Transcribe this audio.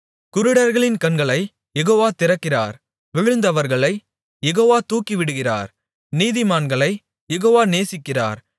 குருடர்களின் கண்களைக் யெகோவா திறக்கிறார் விழுந்தவர்களைக் யெகோவா தூக்கிவிடுகிறார் நீதிமான்களைக் யெகோவா நேசிக்கிறார்